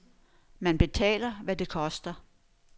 Man betaler, hvad det koster.